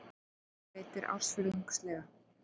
Vextir greiddir ársfjórðungslega